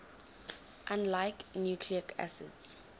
unlike nucleic acids